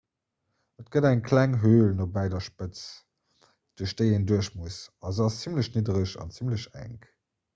et gëtt eng kleng höl nobäi der spëtz duerch déi een duerch muss a se ass zimmlech niddereg an zimmlech enk